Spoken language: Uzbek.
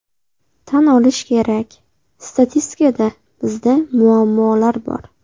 Tan olish kerak, statistikada bizda muammolar bor.